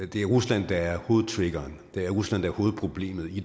det er rusland der er hovedtriggeren det er rusland der er hovedproblemet i